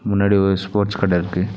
முன்னாடி ஒரு ஸ்போர்ட்ஸ் கட இருக்கு.